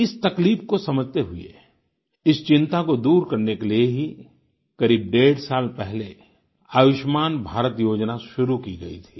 इस तकलीफ को समझते हुए इस चिंता को दूर करने के लिए ही करीब डेढ़ साल पहले आयुष्मान भारत योजना शुरू की गई थी